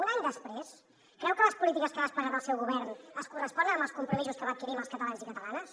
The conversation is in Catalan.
un any després creu que les polítiques que ha desplegat el seu govern es corresponen amb els compromisos que va adquirir amb els catalans i catalanes